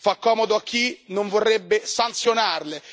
Fa comodo a chi non vorrebbe sanzionarle.